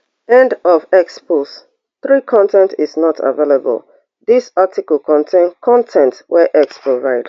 end of x post three con ten t is not available dis article contain con ten t wey x provide